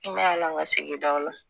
N bɛ yaala n ka sigidaw la